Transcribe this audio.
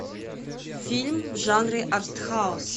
фильм в жанре арт хаус